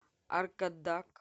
аркадак